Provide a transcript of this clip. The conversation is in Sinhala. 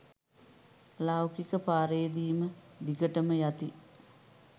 ලෞකික පාරේම දිගටම යති